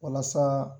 Walasa